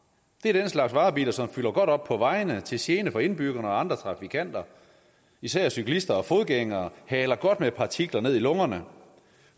det er den slags varebiler som fylder godt op på vejene til gene for indbyggerne og andre trafikanter især cyklister og fodgængere haler godt med partikler ned i lungerne